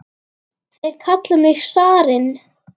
Þeir kalla þig zarinn!